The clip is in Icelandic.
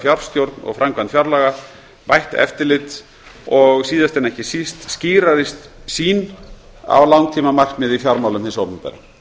fjárstjórn og framkvæmd fjárlaga bætt eftirlit og síðast en ekki síst skýrari sýn á langtímamarkmið í fjármálum hins opinbera